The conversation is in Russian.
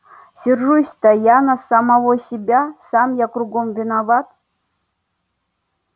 сержусь-то я на самого себя сам я кругом виноват